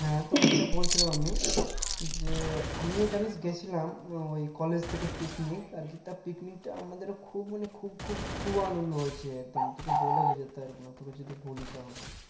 হ্যাঁ তোকে যেটা বলছিলাম আমি যে আমিও জানিস গিয়েছিলাম ওই college থেকে picnic আর কিতা picnic আমাদের খুব মানে খুব খুব খুব আনন্দ হয়েছে একদম তোকে বলে বোঝাতে পারব না তোকে যদি বলি তাহলে